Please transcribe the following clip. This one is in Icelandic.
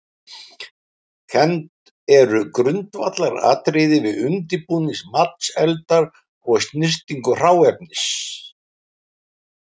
Kennd eru grundvallaratriði við undirbúning matseldar og snyrtingu hráefnis.